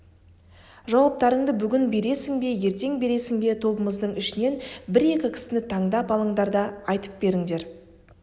жауаптарыңды бүгін бересің бе ертең бересің бе тобымыздың ішінен бір-екі кісіні таңдап алыңдар да айтып беріңдер